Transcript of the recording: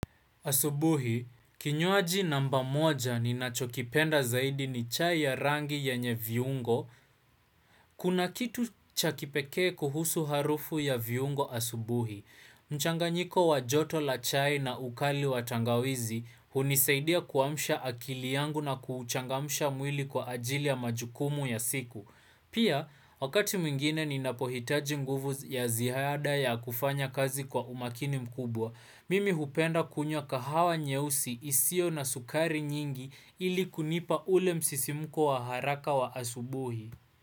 Asubuhi, kinywaji namba moja ninachokipenda zaidi ni chai ya rangi yenye viungo. Kuna kitu cha kipekee kuhusu harufu ya viungo asubuhi. Mchanganyiko wa joto la chai na ukali watangawizi hunisaidia kuamsha akili yangu na kuchangamsha mwili kwa ajili ya majukumu ya siku. Pia, wakati mwingine ninapohitaji nguvu ya ziada ya kufanya kazi kwa umakini mkubwa. Mimi hupenda kunywa kahawa nyeusi isio na sukari nyingi ili kunipa ule msisimuko wa haraka wa asubuhi.